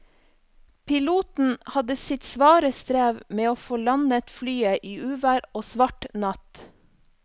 Piloten hadde sitt svare strev med å få landet flyet i uvær og svart natt.